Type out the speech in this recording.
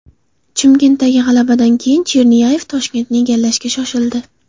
Chimkentdagi g‘alabadan keyin, Chernyayev Toshkentni egallashga shoshildi.